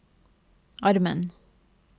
armen